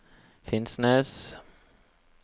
Finnsnes